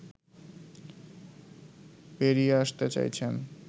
বেরিয়ে আসতে চাইছেন